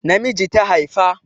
Namiji ta haifa